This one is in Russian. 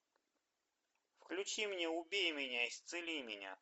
включи мне убей меня исцели меня